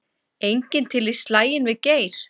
Enginn til í slaginn við Geir